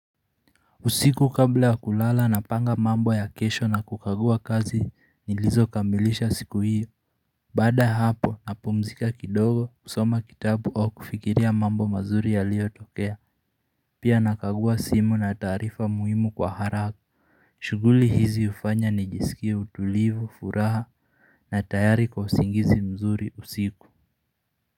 Usiku kabla ya kulala napanga mambo ya kesho na kukagua kazi nilizokamilisha siku hiyo. Baada ya hapo napumzika kidogo kusoma kitabu au kufikiria mambo mazuri yaliotokea pia nakagua simu na taarifa muhimu kwa haraka shughuli hizi hufanya nijisikie utulivu, furaha na tayari kwa usingizi mzuri usiku.